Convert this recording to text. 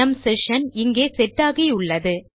நம் செஷன் இங்கே செட் ஆகியுள்ளது